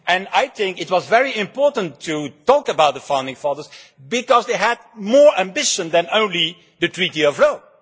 I think it is very important to talk about the founding fathers because they had more ambition than just the Treaty of Rome.